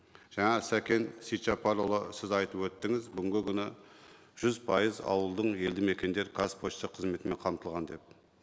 жаңа сәкен сейітжаппарұлы сіз айтып өттіңіз бүгінгі күні жүз пайыз ауылдың елді мекендері қазпошта қызметімен қамтылған деп